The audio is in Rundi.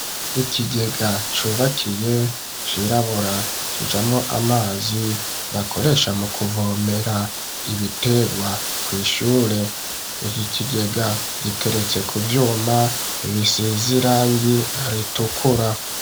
Ikigega cubakiye cirabura kijamwo amazi bakoresha mu kuvomera ibitegwa ku ishure iki kigega giteretse ku vyuma bisize irangi ritukura.